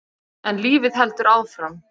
En lífið heldur áfram.